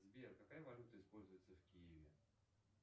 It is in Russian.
сбер какая валюта используется в киеве